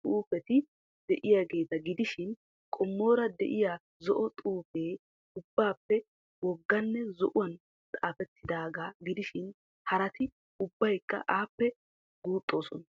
xufetidi de'iyaageeta gidishin qommora de'iyaa zo'o xuufee ubbappe wogaanne zo'uwan xaafettidaagaa gidishin harati ubbaykka appe guuxxoosona.